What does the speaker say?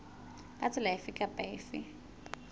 ka tsela efe kapa efe